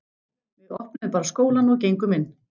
Við opnuðum bara skólann og gengum inn.